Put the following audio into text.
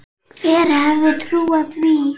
Hver hefði trúað því.